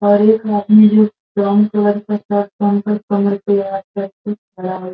और एक आदमी जो --